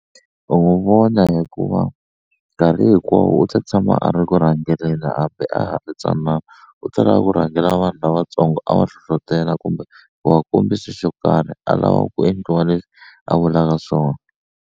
U n'wu vona hikuva nkarhi hinkwawo u ta tshama a ri ku rhangeleni hambi a ha ri ntsanana u ta lava ku rhangela vanhu lavatsongo a va hlohlotela kumbe ku va kombisa xo karhi a lava ku endliwa leswi a vulaka swona.